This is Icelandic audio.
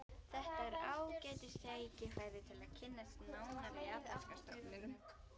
Þetta er ágætis tækifæri til að kynnast nánar japanska stofninum